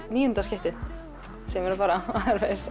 níunda skiptið sem ég er að fara